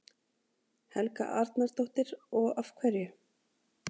Helga Arnardóttir: Og af hverju?